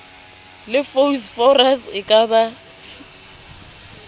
le phosphorus e ka ba